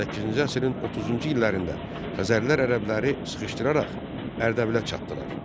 Səkkizinci əsrin 30-cu illərində Xəzərlər ərəbləri sıxışdıraraq Ərdəbilə çatdılar.